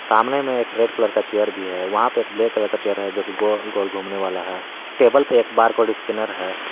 सामने में एक रेड कलर का चेयर भी है वहां पे एक ब्लैक कलर का चेयर है जो कि गोल गोल घूमने वाला है। टेबल पे एक बार कोड स्कैनर है।